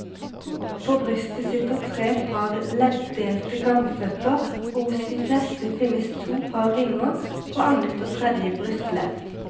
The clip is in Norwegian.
På brystet sitter tre par leddelte gangføtter og hos de fleste finnes to par vinger, på annet og tredje brystledd.